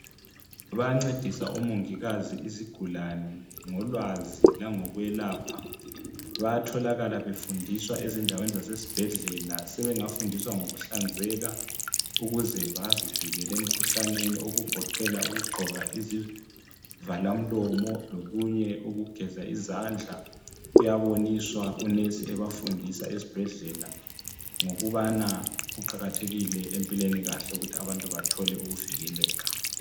Bayancedisa omongikazi izigulane ngolwazi langokwelapha. Bayatholakala befundiswa ezindaweni zasesibhedlela. Sebengafundiswa ngokuhlanzeka ukuze bazivikele emkhuhlaneni okugoqela ukugqoka izivalamlomo lokunye ukugeza izandla kuyaboniswa unesi ebafundisa esibhedlela ngokubana kuqakathekile empilweni ukuthi abantu bathole ukuvikeleka.